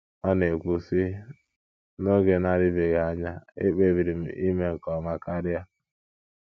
Ọ na - ekwu, sị: “ N’oge na - adịbeghị anya, ekpebiri m ime nke ọma karịa.